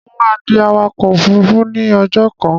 Mo máa di awakọ̀ òfurufú ní ọjọ́ kan.